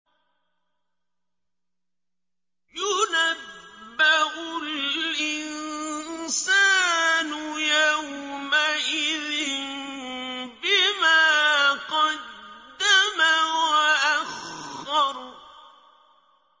يُنَبَّأُ الْإِنسَانُ يَوْمَئِذٍ بِمَا قَدَّمَ وَأَخَّرَ